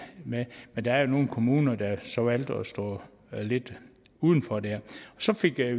med men der er nogle kommuner der så har valgt at stå lidt uden for der så fik vi